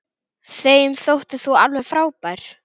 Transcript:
Þeim þótti þú alveg frábær.